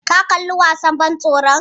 Ka kalli wasan ban tsoron?